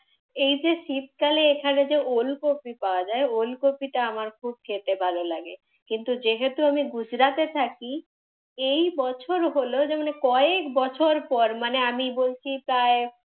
এই যে শীতকালে এখানে যে ওল কফি পাওয়া যায় ওল কফি টা আমার খুব খেতে ভালো লাগে। কিন্তু যেহেতু আমি গুজরাতে থাকি, এই বছর হল যে মনে কয়েক বছর পর মানে আমি বলছি প্রায়,